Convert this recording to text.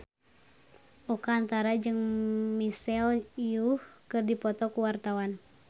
Oka Antara jeung Michelle Yeoh keur dipoto ku wartawan